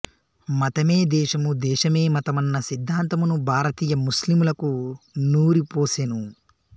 మతమే దేశము దేశమే మతమన్న సిద్దాంతమును భారతీయ ముస్లిములకు నూరిపోసెను